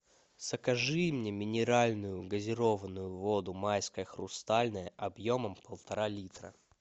закажи мне минеральную газированную воду майская хрустальная объемом полтора литра